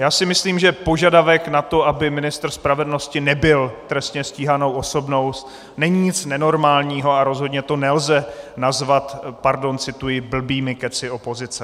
Já si myslím, že požadavek na to, aby ministr spravedlnosti nebyl trestně stíhanou osobou, není nic nenormálního, a rozhodně to nelze nazvat, pardon, cituji, "blbými kecy opozice".